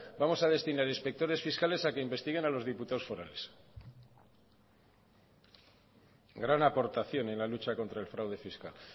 vamos a destinar inspectores fiscales a que investiguen a los diputados forales gran aportación en la lucha contra el fraude fiscal